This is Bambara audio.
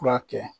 Furakɛ